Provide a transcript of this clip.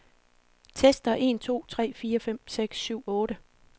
Tester en to tre fire fem seks syv otte.